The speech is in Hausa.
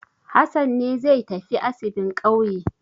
Hassan ne zai tafi asibin ƙauye.